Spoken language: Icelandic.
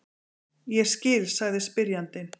Ég skil, sagði spyrjandinn.